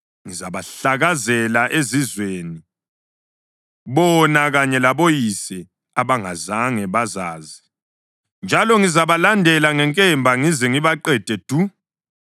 Ngizabahlakazela ezizweni bona kanye laboyise abangazange bazazi, njalo ngizabalandela ngenkemba ngize ngibaqede du.”